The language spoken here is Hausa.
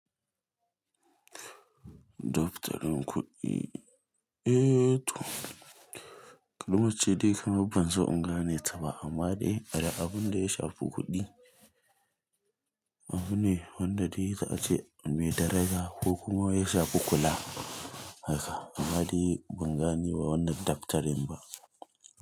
Dokfatarin kuɗi, eh to kalmace dai kamar ban so in gane ta ba amma dai abun da ya shafi kuɗi. Abune wanda dai za a ce me daraja ko kuma ya shafi kula haka amma dai ban gane wa wannan dokfatarin ba.